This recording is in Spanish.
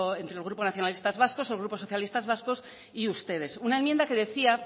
entre el grupo nacionalistas vascos el grupo socialistas vascos y ustedes una enmienda que decía